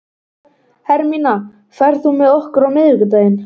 Hermína, ferð þú með okkur á miðvikudaginn?